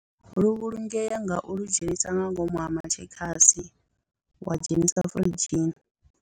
Lu vhulungea nga u lu dzhenisa nga ngomu ha matshekasi wa dzhenisa firidzhini.